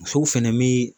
Musow fɛnɛ mi